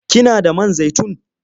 Kina da man zaitun?